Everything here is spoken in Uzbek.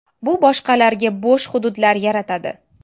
Bu boshqalarga bo‘sh hududlar yaratadi.